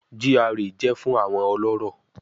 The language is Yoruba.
GRA jẹ fun awọn ọlọrọ